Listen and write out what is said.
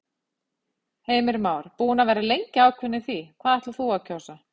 Heimir Már: Búin að vera lengi ákveðin í því hvað þú ætlar að kjósa?